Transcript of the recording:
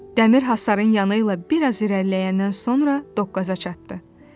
Dəmir hasarın yanı ilə bir az irəliləyəndən sonra dokqaza çatdı.